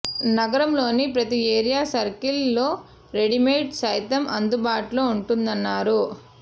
నగరంలోని ప్రతి area circle లో రెడీమేడ్ సైతం అందుబాటులో ఉంటుందన్నారు